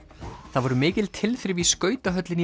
það voru mikil tilþrif í skautahöllinni í